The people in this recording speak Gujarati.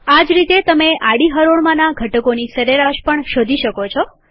આ જ રીતેતમે આડી હરોળમાંના ઘટકોની સરેરાશ પણ શોધી શકો છો